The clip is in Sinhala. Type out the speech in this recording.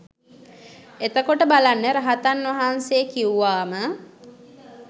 එතකොට බලන්න රහතන් වහන්සේ කිව්වාම